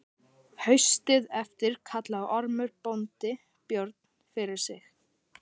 Haustið eftir kallaði Ormur bóndi Björn fyrir sig.